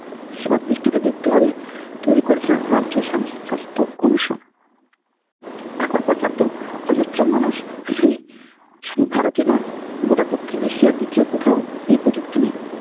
সেবার দৃষ্টিতে দেখতে হবে। তৈরি করেছিলেন রাজ্য স্বাস্থ্য Commission এখন পর্যন্ত অজস্র মানুষ সেই শুধু ভারতেই নয় গোটা দক্ষিণ এশিয়ার দ্বিতীয় কোথাও এই প্রযুক্তি নেই।